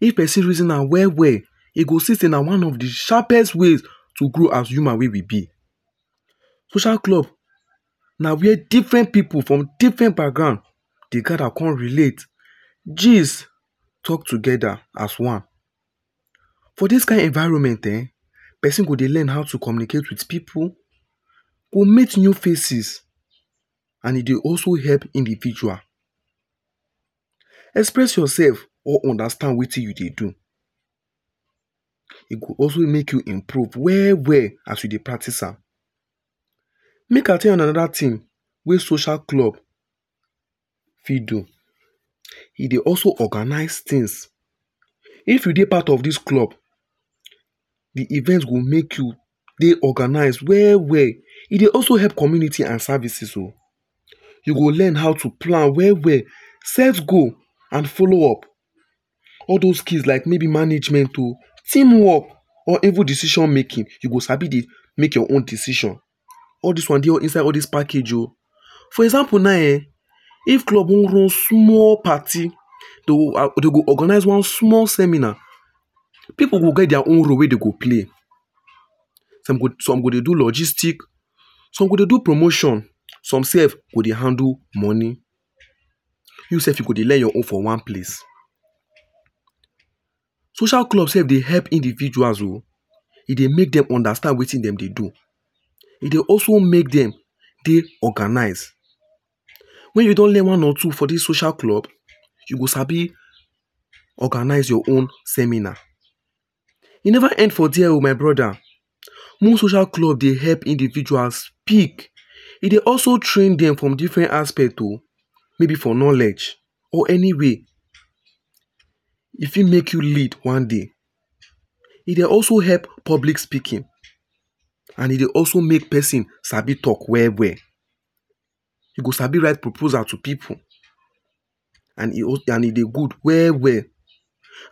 If person reason am well well, e go see sey na one of de sharpest ways to grow as humans wey we be. Social club na where different pipu from different background dey gather come relate. Gees talk together as one. For this kind environment eh, person go dey learn how to communicate with pipu, or meet new faces and e dey also help individual express yourself or understand wetin you dey do. E go also make you improve well well as you dey practice am. Make I tell Una another thing wey social club fit do: E dey also organise things. If you dey part of this club, the event go make you dey organise well well. E dey also help community and services oh. You go learn how to plan well well, set goal and follow up. All those skills like maybe management oh team work, or even decision making you go sabi dey make your own decision. All this one dey inside all this package oh. For example na eh, if club wan run small party, dey dey go organise one small seminar, pipu go get their own role wey dem go play. Some go dey do logistics, some go dey do promotion some self go dey handle money. You self you go dey learn your own for one place. Social club self dey help individuals oh, e dey make dem understand wetin dem dey do. E dey also make dem dey organised. When you don learn one or two for this social club you go sabi organise your own seminar. E never end for there oh my brother. Most social clubs dey help individuals speak, e dey also train them from different aspect oh; maybe for knowledge or any way. E fit make you lead one day. E dey also help public speaking and e dey also make person Sabi talk well well. You go sabi write proposal to pipu and e dey good well well.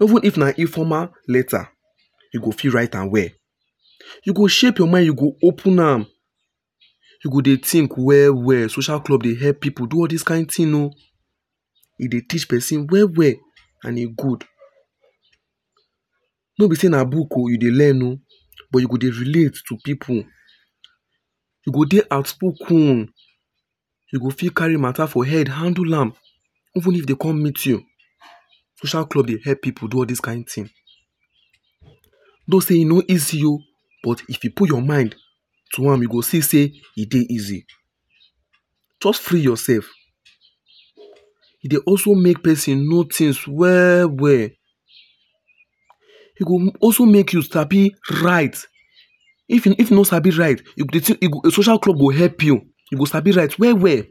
Even if na informal letter, you go fit write am well. E go shape your mind, e go dey open am, you go dey think well well. Social club dey help pipu do all this kind things oh. E dey teach person well well and e good. No be sey na book oh you dey learn oh, but you go dey relate to pipu. You go dey outspoken, you go fit carry mata for head handle am even if dem come meet you. Social club dey help pipu do all this kind thing. Though sey e no easy oh, but if you put your mind to am, you go see sey e dey easy. Just free yourself. E dey also make person know things well well. E go also make you sabi write. If you no sabi write, you go, social club go help you sabi write well well.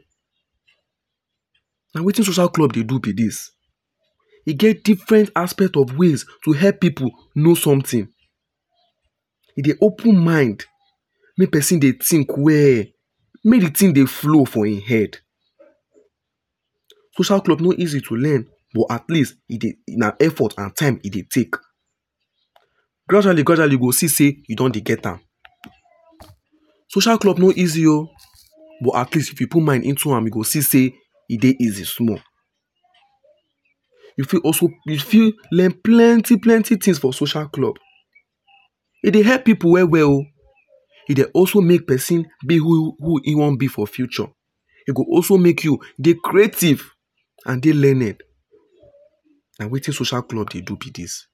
Na wetin social club dey do be this. E get different aspect of ways to help pipu know something. E dey open mind make person dey think well, make de thing dey flow for im head. Social club no easy to learn but at least na effort and time, e dey take. Gradually gradually you go see sey you don dey get am. Social club no easy oh. But at least if you put mind into am, you go see sey e dey easy small. you fit also you fit learn plenty plenty things for social club. E dey help pipu well well oh. E dey also make person be who im wan be for future. E go also make you dey creative and dey learned. Na wetin social club dey do be this.